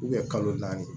kalo naani